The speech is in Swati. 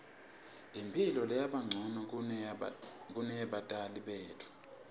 imphilo seyabancono kuneyebatali betfu